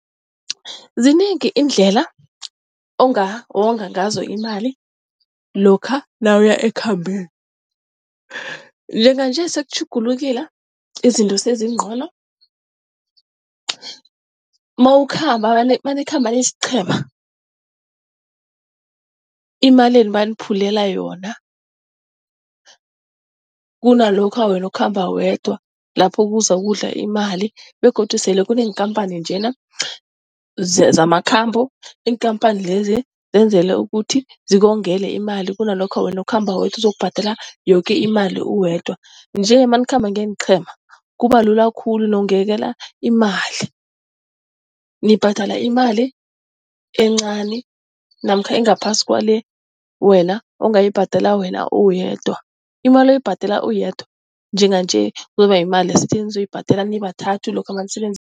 Zinengi iindlela ongawonga ngazo imali lokha nawuya ekhambeni. Njenganje sekutjhugulukile izinto sezincono nanikhamba niyisiqhema, imalenu bayaniphulela yona, kunalokha wena ukhamba wedwa. Lapho kuzakudla imali begodu sele kuneenkhamphani nje zamakhambo. Iinkampani lezi zenzelwe ukuthi zikongele imali kunalokha wena ukhamba wedwa, uzokubhadela yoke imali uwedwa. Nje nanikhamba ngeenqhema kuba lula khulu nongakalela imali, nibhadala imali encani namkha engaphasi kwale wena ongayibhadela wena uwedwa. Imali oyibhadela uwedwa njenganje kuzoba yimali enizoyibhadela nibathathu lokha nanisebenzisa